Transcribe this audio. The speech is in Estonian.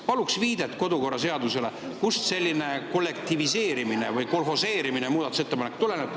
Palun viidet kodukorraseadusele, kust selline kollektiviseerimine või kolhoseerimine muudatusettepanekute puhul tuleneb.